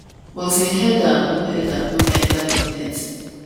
um but im header no header no enta di net